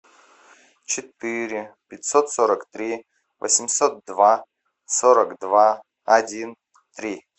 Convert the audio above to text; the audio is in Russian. четыре пятьсот сорок три восемьсот два сорок два один три